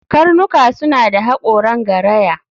Karnuka suna da haƙoran garaya